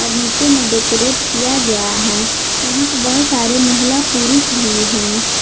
और नीचे में डेकोरेट किया गया है यहां पे बहुत सारे महिला पुरुष भी हैं।